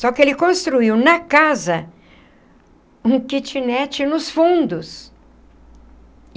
Só que ele construiu na casa um kitnet nos fundos.